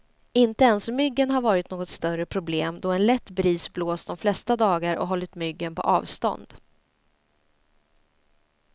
Inte ens myggen har varit något större problem, då en lätt bris blåst de flesta dagar och hållit myggen på avstånd.